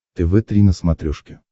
тв три на смотрешке